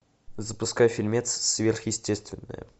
запускай фильмец сверхестественное